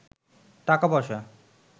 টাকা পয়সা